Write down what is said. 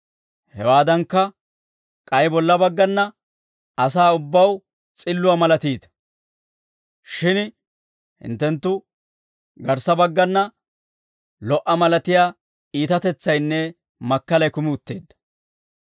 Hewaadankka, k'ay bolla baggana asaa ubbaw s'illuwaa malatiita; shin hinttenttoo garssa baggana lo"a malatiyaa iitatetsaynne makkalay kumi utteedda.